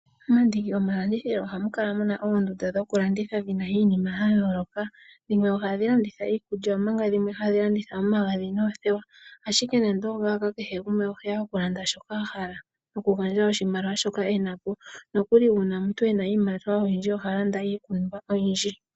Momandiki gomalandithilo ohamu kala mu na oondunda dhokulanditha dhi na iinima ya yooloka. Dhimwe ohadhi landitha iikulya omanga dhimwe hadhi landitha omagadhi noothewa, ashike nando oongaaka kehe gumwe oheya okulanda shoka a hala nokugandja shoka e na po. Nokuli uuna omuntu e na iimaliwa oyindji oha landa iipumbiwa oyindji.